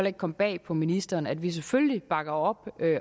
ikke komme bag på ministeren at vi selvfølgelig bakker op